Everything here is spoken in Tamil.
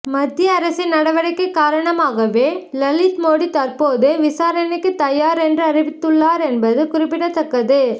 மத்திய அரசின் நடவடிக்கை காரணமாகவே லலித்மோடி தற்போது விசாரணைக்கு தயார் என்று அறிவித்துள்ளார் என்பது குறிப்பிடத்தக்கது